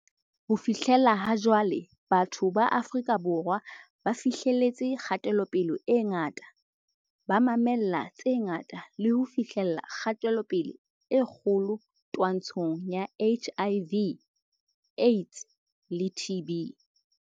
Ho fihlela ha jwale, batho ba Afrika Borwa ba fi hleletse kgatelopele e ngata, ba ma-mella tse ngata le ho fi hlella kgatelopele e kgolo twa-ntshong ya HIV, AIDS le TB.